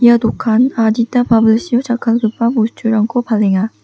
ia dokan adita babilsio jakkalgipa bosturangko palenga.